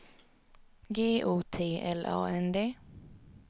G O T L A N D